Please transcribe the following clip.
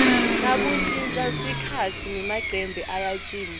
nakushintja sikhatsi nemacembe ayashintja